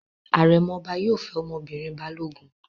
Àrẹ̀mọ ọba yóò fẹ́ ọmọbìnrin Balógun.